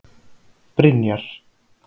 Brynjar